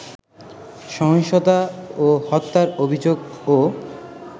সহিংসতা ও হত্যার অভিযোগও